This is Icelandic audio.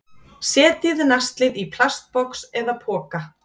Setjið naslið í plastbox eða poka